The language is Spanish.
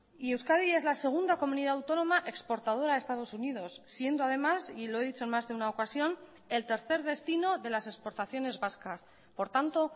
y euskadi es la segunda comunidad autónoma exportadora a estados unidos siendo además y lo he dicho en más de una ocasión el tercer destino de las exportaciones vascas por tanto